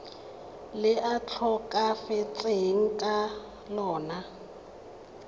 le a tlhokafetseng ka lona